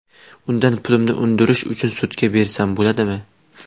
Undan pulimni undirish uchun sudga bersam bo‘ladimi?